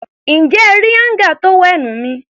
Ǹjẹ́ ẹ rí áńgà tówẹ́ẹ̀nù mi?